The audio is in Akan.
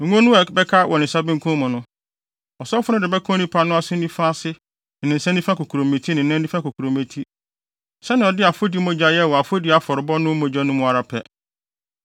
Ngo no a ɛbɛka ne nsa benkum mu no, ɔsɔfo no de bɛka onipa no aso nifa ase ne ne nsa nifa kokurobeti ne ne nan nifa kokurobeti sɛnea ɔde afɔdi mogya yɛe wɔ afɔdi afɔrebɔ no mu no ara pɛ.